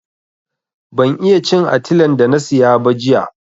Ban iya cin atilen da na siya ba jiya.